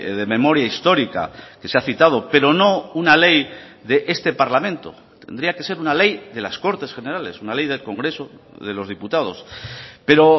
de memoria histórica que se ha citado pero no una ley de este parlamento tendría que ser una ley de las cortes generales una ley del congreso de los diputados pero